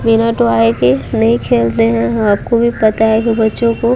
minute आएगी नहीं खेलते हैं आपको भी पता है कि बच्चों को --